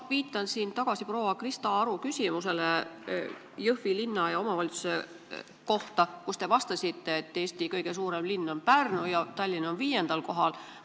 Ma viitan veel kord proua Krista Aru küsimusele Jõhvi linna ja omavalitsuse kohta, millele te vastasite, et Eesti kõige suurem linn on Pärnu ja Tallinn on viiendal kohal.